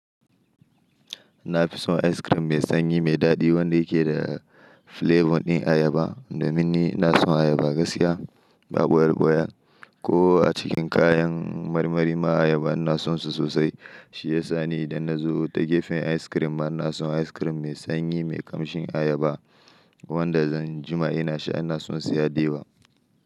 Na fi son ice cream mai sanyi mai daɗi wanda yake da flavour ɗin ayaba, domin ni na son ayaba gaskiya ba boyar boya. Ko a cikin kayan marmari ma ayaba ina sonsu sosai. Shi ya sa ni idan na zo ta gefen ice cream ma ina son ice cream mai sanyi mai ƙamshin ayaba wanda zan jima ina shi ina sonsa ya diba.